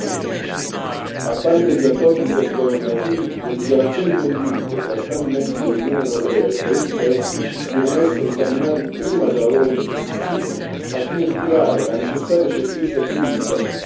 Al pari degli accordi intergovernativi, le dichiarazioni congiunte tra Stati membri dell'Unione europea e paesi terzi devono essere esaminate prima della loro sottoscrizione, al fine di creare la necessaria certezza giuridica per gli investimenti.